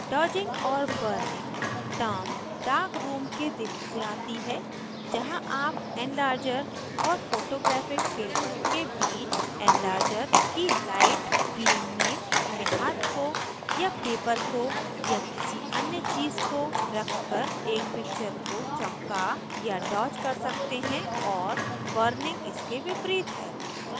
dodging और burning term dark room के दिनों से आती है जहाँ आप enlarger और photographic paper के बीच enlarger की light beam में अपने हाथ को या paper को या किसी अन्य days को रखकर एक picture को चमका dodge कर सकते हैं और burning इसके विपरीत है